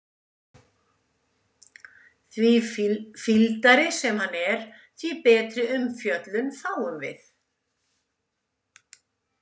Því fýldari sem hann er, því betri umfjöllun fáum við.